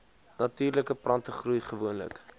natuurlike plantegroei gewoonlik